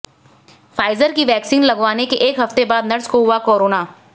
Pfizer की vaccine लगवाने के एक हफ्ते बाद नर्स को हुआ कारोना